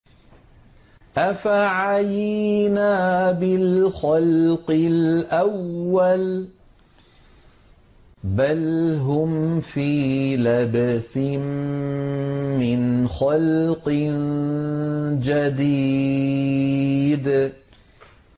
أَفَعَيِينَا بِالْخَلْقِ الْأَوَّلِ ۚ بَلْ هُمْ فِي لَبْسٍ مِّنْ خَلْقٍ جَدِيدٍ